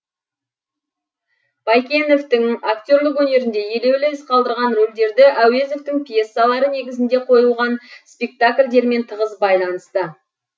байкеновтің актерлік өнерінде елеулі із қалдырған рөлдері әуезовтің пьесалары негізінде қойылған спектакльдермен тығыз байланысты